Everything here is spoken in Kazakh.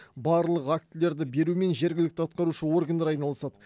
барлық актілерді берумен жергілікті атқарушы органдар айналысады